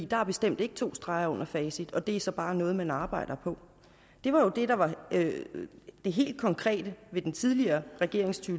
der er bestemt ikke to streger under facit og at det så bare er noget man arbejder på det var jo det der var det helt konkrete ved den tidligere regerings to